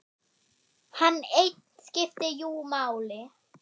Hann einn skipti jú máli.